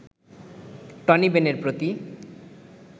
Tony বেনের প্রতি